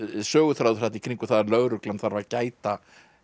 söguþráður þarna í kringum það að lögreglan þarf að gæta